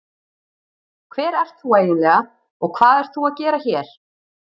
Hver ert þú eiginlega og hvað ert þú að gera hér?